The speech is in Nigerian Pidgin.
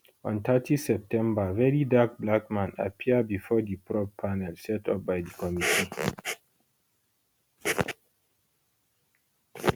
on thirty september verydarkblackman appear bifor di probe panel set up by di committee